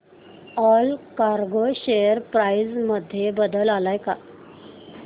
Allcargo share price मध्ये बदल आलाय का